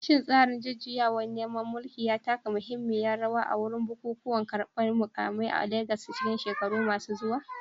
Shin tsarin jujjuyawar neman mulki ya taka muhimmiyar rawa a bukukuwan karbar mukamai a Legas a cikin shekaru masu zuwa?